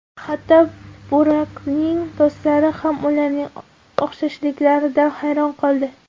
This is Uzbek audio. Hatto Burakning do‘stlari ham ularning o‘xshashliklaridan hayron qoldi.